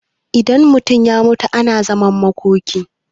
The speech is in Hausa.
idan mutum ya mutu ana zaman makoki